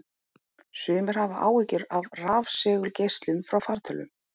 Sumir hafa áhyggjur af rafsegulgeislun frá fartölvum.